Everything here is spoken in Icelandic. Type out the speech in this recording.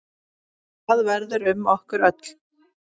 Hvað verður um okkur öll?